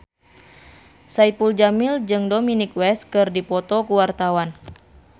Saipul Jamil jeung Dominic West keur dipoto ku wartawan